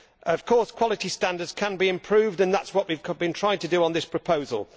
Of course, quality standards can be improved, and that is what we have been trying to do with this proposal.